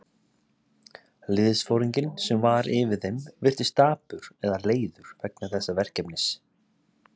Liðsforinginn, sem var yfir þeim, virtist dapur eða leiður vegna þessa verkefnis.